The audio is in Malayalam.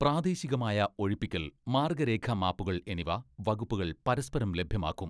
പ്രാദേശികമായ ഒഴിപ്പിക്കൽ, മാർഗ്ഗരേഖാ മാപ്പുകൾ എന്നിവ വകുപ്പുകൾ പരസ്പരം ലഭ്യമാക്കും.